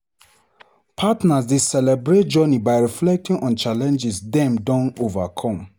Partners dey celebrate journey by reflecting on challenges dem don overcome.